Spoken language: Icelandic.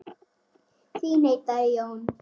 Því neitaði Jón.